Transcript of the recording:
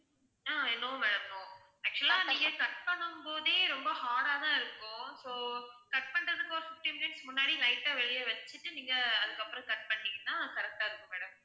ஆஹ் no madam no actual ஆ நீங்க cut பண்ணும்போதே ரொம்ப hard ஆ தான் இருக்கும் so cut பண்றதுக்கு ஒரு fifteen minutes முன்னாடி light ஆ வெளிய வச்சிட்டு நீங்க அதுக்கு அப்பறம் cut பண்ணீங்கன்னா correct டா இருக்கும் madam